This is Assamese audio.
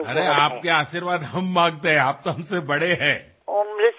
আৰে আপোনাৰ আশীৰ্বাদ আমাক লাগে আপুনিতো আমাতকৈ ডাঙৰ